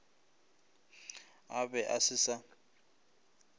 a be a se sa